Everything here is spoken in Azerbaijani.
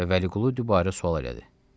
Və Vəliqulu dübarə sual elədi.